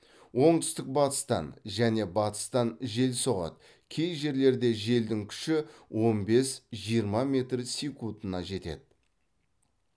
оңтүстік батыстан және батыстан жел соғады кей жерлерде желдің күші он бес жиырма метр секундына жетеді